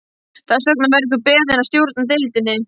Þess vegna verður þú beðinn að stjórna deildinni